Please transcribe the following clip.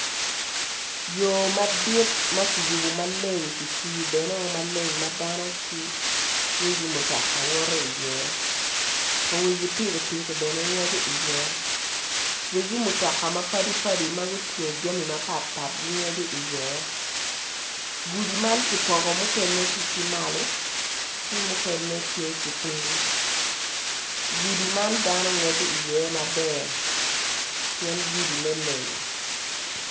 Yor madit makiyubo maleng kifuyo bene o maleng madano ki wegi mutoka woto i ye, wegi piki piki bene ngweco i ye wegi mutoka mapadi padi magutingo jami mapat pat gingweco i ye gudi man kipoko mukene tye ki malo ki mukene tye ki ping gudi man dano ngweco maber pien gudi ne leng.